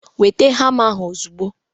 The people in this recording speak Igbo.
Weta hama ahụ ozugbo!